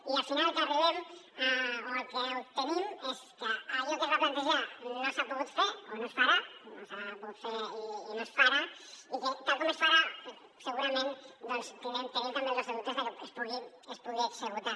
i al final al que arribem o el que obtenim és que allò que es va plantejar no s’ha pogut fer o no es farà no s’ha pogut fer i no es farà i que tal com es farà segurament doncs tenim també els nostres dubtes de que es pugui executar